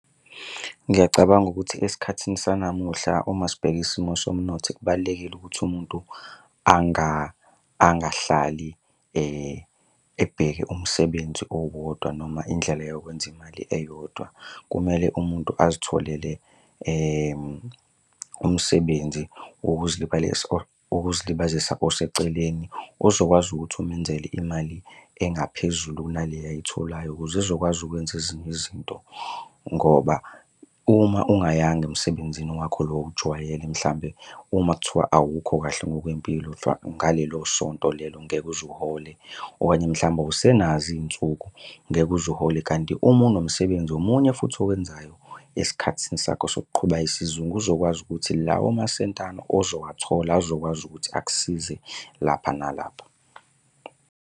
Ngiyacabanga ukuthi esikhathini sanamuhla uma sibheka isimo somnotho kubalulekile ukuthi umuntu angahlali ebheke umsebenzi owodwa noma indlela yokwenza imali eyodwa. Kumele umuntu azitholele umsebenzi wokuzilibazisa oseceleni ozokwazi ukuthi umenzele imali engaphezulu kunaleyo ayitholayo ukuze ezokwazi ukwenza ezinye izinto, ngoba uma ungayanga emsebenzini wakho lo owujwayele mhlawumbe uma kuthiwa awukho kahle ngokwempilo ngalelo sonto lelo ngeke uze uhole. Okanye mhlawumbe awusenazo iy'nsuku, ngeke uze uhole, kanti uma unomsebenzi omunye futhi owenzayo esikhathini sakho sokuqhuba isizungu kuzokwazi ukuthi lawo masentana ozowathola azokwazi ukuthi akusize lapha nalapha.